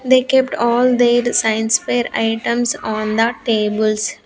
they kept all their science pair items on the tables.